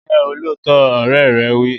Jẹ́ olóòótọ́! Ọ̀rẹ́ rẹ wí.